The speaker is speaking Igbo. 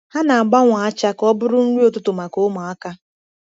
Ha na-agbanwe acha ka ọ bụrụ nri ụtụtụ maka ụmụaka.